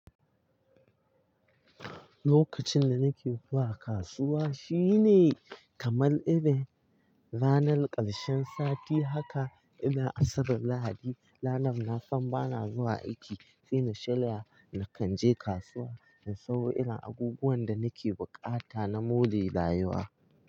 Lokacin da nake zuwa kasuwa shine kamar irin ranar ƙarshen sati haka ina Asabar Lahadi. Ranar na san bana zuwa aiki sai na shirya na kan je kasuwa in sayo irin abubuwan da nake buƙata na more rayuwa.